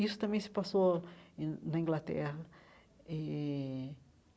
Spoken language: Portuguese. Isso também se passou eh na Inglaterra eh.